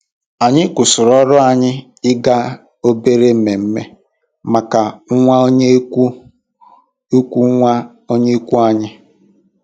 Anyị kwụsịrị ọrụ anyị ịga obere ememe maka nwa onye ikwu nwa onye ikwu anyị.